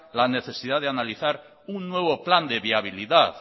la necesidad de analizar un nuevo plan de viabilidad